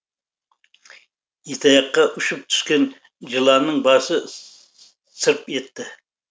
итаяққа ұшып түскен жыланның басы сырп етті